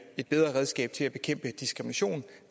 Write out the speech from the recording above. et bedre redskab til at bekæmpe diskrimination